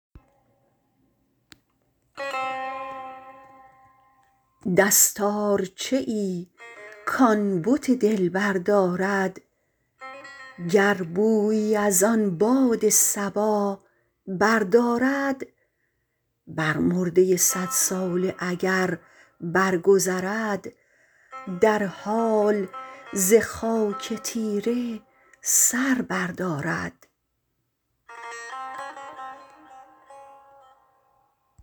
دستارچه ای کان بت دلبر دارد گر بویی ازان باد صبا بردارد بر مرده صد ساله اگر برگذرد در حال ز خاک تیره سر بردارد